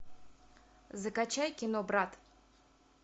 закачай кино брат